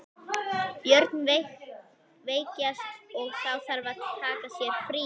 Börnin veikjast og þá þarf að taka sér frí.